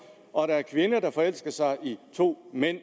og at der er kvinder der forelsker sig i to mænd